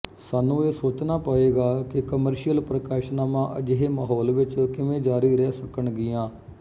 ਸਾਨੂੰ ਇਹ ਸੋਚਣਾ ਪਏਗਾ ਕਿ ਕਮਰਸ਼ੀਅਲ ਪ੍ਰਕਾਸ਼ਨਾਵਾਂ ਅਜਿਹੇ ਮਾਹੌਲ ਚ ਕਿਵੇਂ ਜਾਰੀ ਰਹਿ ਸਕਣਗੀਆਂ